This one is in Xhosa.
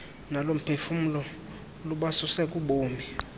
nolomphefumlo lubasuse kubomi